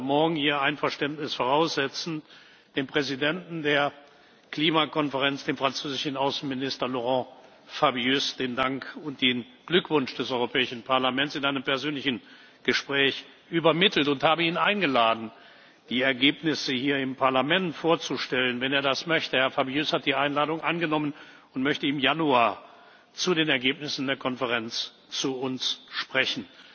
geleistet. Ich habe heute Morgen, Ihr Einverständnis voraussetzend, dem Präsidenten der Klimakonferenz, dem französischen Außenminister Laurent Fabius, den Dank und den Glückwunsch des Europäischen Parlaments in einem persönlichen Gespräch übermittelt und habe ihn eingeladen, die Ergebnisse hier im Parlament vorzustellen, wenn er das möchte. Herr Fabius hat die Einladung angenommen und möchte im Januar zu den Ergebnissen der Konferenz zu